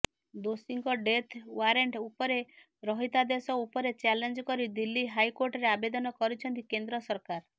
ଦୋଷୀଙ୍କ death warrant ଉପରେ ରହିତାଦେଶ ଉପରେ ଚ୍ୟାଲେଞ୍ଜ କରି ଦିଲ୍ଲୀ ହାଇକୋର୍ଟରେ ଆବେଦନ କରିଛନ୍ତି କେନ୍ଦ୍ର ସରକାର